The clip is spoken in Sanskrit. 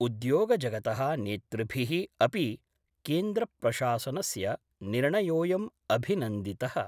उद्योगजगत: नेतृभिः अपि केन्द्रप्रशासनस्य निर्णयोयम् अभिनन्दित:।